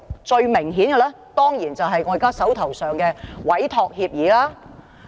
最明顯的當然是我現時手上的委託協議。